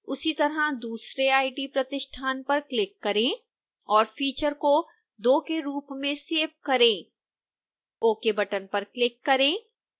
उसी तरह दूसरे it प्रतिष्ठान पर क्लिक करें और फीचर को 2 के रूप में सेव करें ok बटन पर क्लिक करें